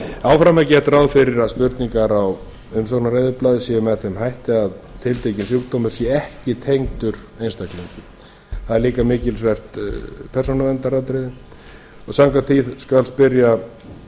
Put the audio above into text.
áfram er gert ráð fyrir að spurningar á umsóknareyðublaði séu með þeim hætti að tiltekinn sjúkdómur sé ekki tengdur einstaklingi það er líka mikilsvert persónuverndaratriði og samkvæmt því skal spyrja um